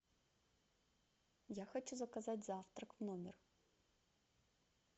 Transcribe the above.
я хочу заказать завтрак в номер